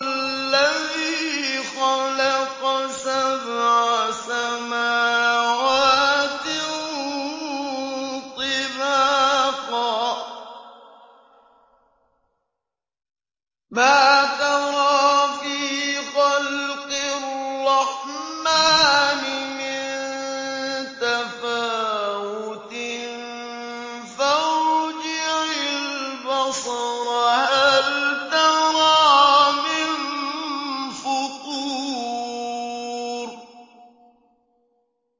الَّذِي خَلَقَ سَبْعَ سَمَاوَاتٍ طِبَاقًا ۖ مَّا تَرَىٰ فِي خَلْقِ الرَّحْمَٰنِ مِن تَفَاوُتٍ ۖ فَارْجِعِ الْبَصَرَ هَلْ تَرَىٰ مِن فُطُورٍ